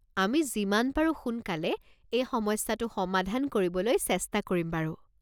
আমি যিমান পাৰো সোনকালে এই সমস্যাটো সমাধান কৰিবলৈ চেষ্টা কৰিম বাৰু।